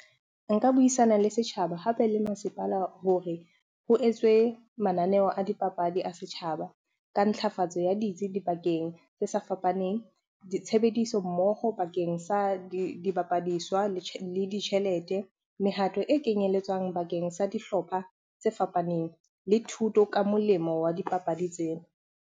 Nka buisana le setjhaba hape le masepala hore ho etswe mananeo a dipapadi a setjhaba. Ka ntlafatso ya ditsi dibakeng tse sa fapaneng, ditshebediso mmoho bakeng sa dibapadiswa le ditjhelete, mehato e kenyelletswang bakeng sa dihlopha tse fapaneng le thuto ka molemo wa dipapadi tsena.